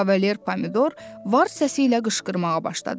Kavalier Pomidor var səsi ilə qışqırmağa başladı.